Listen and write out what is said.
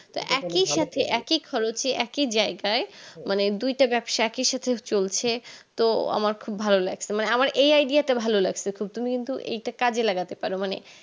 তা একই সাথে একই খরচে একই জায়গায় মানে দুইটা ব্যবসা একই সাথে চলছে তো আমার খুব ভালো লাগসে মানে আমার এই idea টা ভালো লাগসে খুব তুমি কিন্তু এটা কাজে লাগাতে পারো